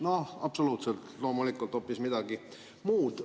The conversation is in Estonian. No absoluutselt, loomulikult on see hoopis midagi muud.